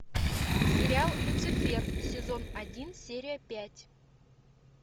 сериал люцифер сезон один серия пять